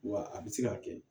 Wa a bɛ se ka kɛ